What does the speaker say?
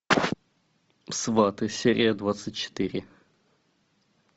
сваты серия двадцать четыре